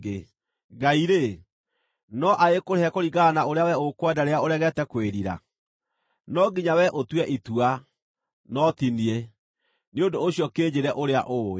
Ngai-rĩ, no agĩkũrĩhe kũringana na ũrĩa wee ũkwenda rĩrĩa ũregete kwĩrira? No nginya we ũtue itua, no ti niĩ; nĩ ũndũ ũcio kĩnjĩĩre ũrĩa ũũĩ.